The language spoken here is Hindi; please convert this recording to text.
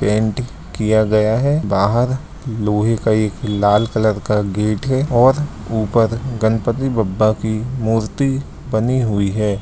पेंट किया गया है बाहर लोहे का एक लाल कलर का गेट है और उपर गनपती बप्पा कि मूर्ति बनी हुयी है।